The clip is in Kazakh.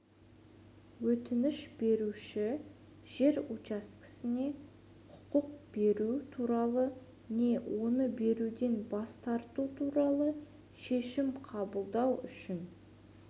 өтініш беруші жер учаскесіне құқық беру туралы не оны беруден бас тарту туралы шешім қабылдау үшін